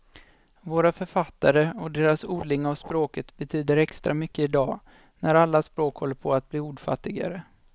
Våra författare och deras odling av språket betyder extra mycket idag, när alla språk håller på att bli ordfattigare.